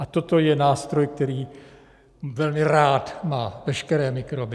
A toto je nástroj, který velmi rád má veškeré mikroby.